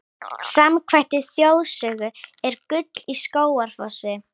Samkvæmt þjóðsögu er gull í Skógafossi.